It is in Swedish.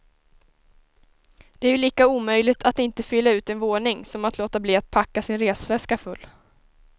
Det är ju lika omöjligt att inte fylla ut en våning som att låta bli att packa sin resväska full.